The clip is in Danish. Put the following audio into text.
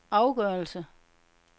afgørelse